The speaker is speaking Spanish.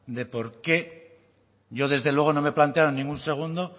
de por qué yo desde luego no me he planteado en ningún segundo